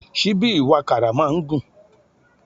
Síbí ìwàkàrà máa ń gùn